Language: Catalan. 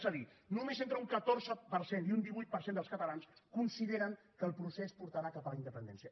és a dir només entre un catorze per cent i un divuit per cent dels catalans consideren que el procés portarà cap a la independència